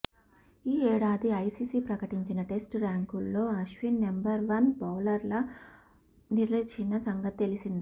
ఈ ఏడాది ఐసీసీ ప్రకటించిన టెస్టు ర్యాంకుల్లో అశ్విన్ నెంబర్ వన్ బౌలర్గా నిలిచిన సంగతి తెలిసిందే